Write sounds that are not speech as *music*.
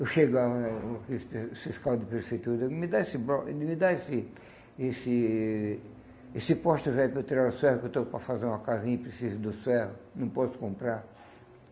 Eu chegava *unintelligible* no fiscal de prefeitura, ele me dá esse blo me dá esse esse esse poste velho para eu tirar os ferro que eu estou para fazer uma casinha e preciso dos ferro, não posso comprar.